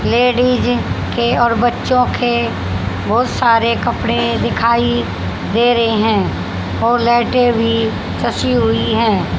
Ladies के और बच्चों के बहुत सारे कपड़े दिखाइ दे रहे हैं और लाइटें भी सची हुई है।